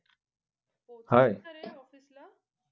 पोहचला का रे office ला?